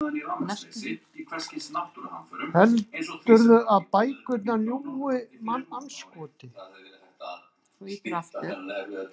Heldurðu að bækurnar ljúgi, mannandskoti?